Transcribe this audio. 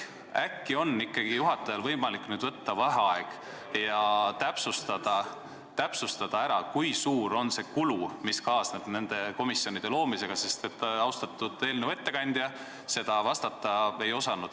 Äkki on ikkagi juhatajal võimalik nüüd võtta vaheaeg ja täpsustada, kui suur on see kulu, mis kaasneb nende komisjonide loomisega, sest austatud eelnõu ettekandja sellele vastata ei osanud.